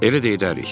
Elə də edərik.